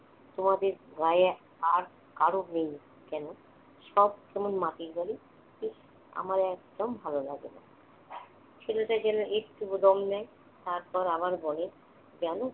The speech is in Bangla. তোমাদের গাঁয়ে আর কারো নেই কেন? সব কেমন মাটির বাড়ি। উহ আমার একদম ভালো লাগে না। ছেলেটা যেন একটু দম নেয়, তারপর আবার বলে জান,